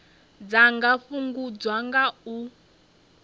dza nga fhungudzwa nga u